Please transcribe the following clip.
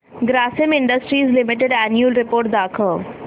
Grasim Industries Limited annual report दाखव